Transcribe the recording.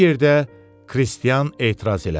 Bu yerdə Kristian etiraz elədi.